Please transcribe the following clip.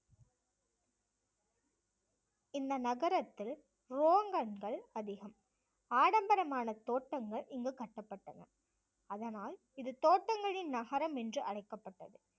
இந்த நகரத்தில் ரோகன்கள் அதிகம் ஆடம்பரமான தோட்டங்கள் இங்கு கட்டப்பட்டன அதனால் இது தோட்டங்களின் நகரம் என்று அழைக்கப்பட்டது.